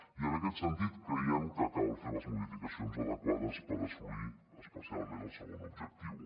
i en aquest sentit creiem que cal fer les modificacions adequades per assolir especialment el segon objectiu